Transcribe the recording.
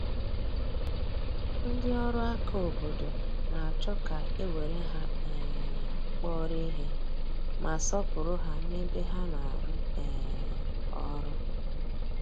Ndị ọrụ aka obodo na-achọ ka e were ha um kpọrọ ihe, ma sọọpụrụ ha n’ebe ha na-arụ um ọrụ.